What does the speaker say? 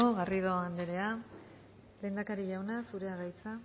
garrido anderea lehendakari jauna zurea da hitza